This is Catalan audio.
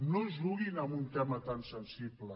no juguin amb un tema tan sensible